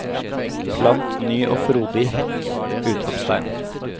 Plant ny og frodig hekk! utropstegn